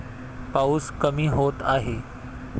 पाऊस कमी होत आहे.